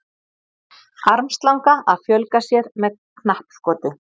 Armslanga að fjölga sér með knappskoti.